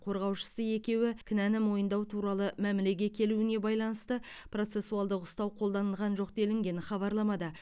қорғаушысы екеуі кінәні мойындау туралы мәмілеге келуіне байланысты процессуалдық ұстау қолданылған жоқ делінген хабарламада